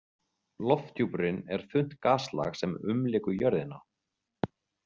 Lofthjúpurinn er þunnt gaslag sem umlykur jörðina.